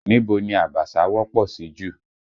Níbo ni Abaṣa wọ́pọ̀ sí jù?